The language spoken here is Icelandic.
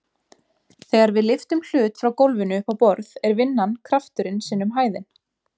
Þegar við lyftum hlut frá gólfinu upp á borð er vinnan krafturinn sinnum hæðin.